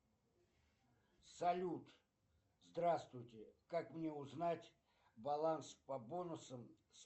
салют здравствуйте как мне узнать баланс по бонусам